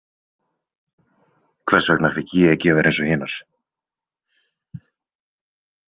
Hvers vegna fékk ég ekki að vera eins og hinar?